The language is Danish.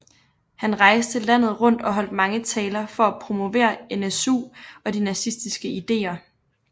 Han rejste landet rundt og holdt mange taler for at promovere NSU og de nazistiske ideer